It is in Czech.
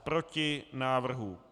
Proti návrhu.